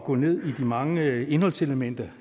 gå ned i de mange indholdselementer